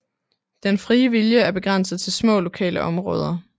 Den frie vilje er begrænset til små lokale områder